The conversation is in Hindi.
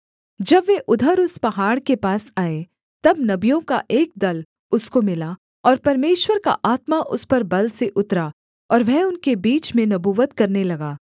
जब वे उधर उस पहाड़ के पास आए तब नबियों का एक दल उसको मिला और परमेश्वर का आत्मा उस पर बल से उतरा और वह उनके बीच में नबूवत करने लगा